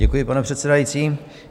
Děkuji, pane předsedající.